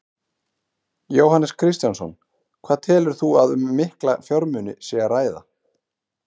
Jóhannes Kristjánsson: Hvað telur þú að um mikla fjármuni sé að ræða?